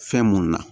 Fɛn munnu na